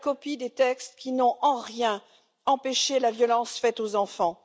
Elle est la copie des textes qui n'ont en rien empêché les violences faites aux enfants.